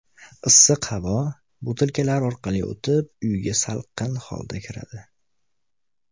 Issiq havo butilkalar orqali o‘tib, uyga salqin holda kiradi.